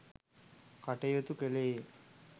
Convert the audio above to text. කටයුතු කළේය.